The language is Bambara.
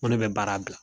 Ŋo ne be baara bila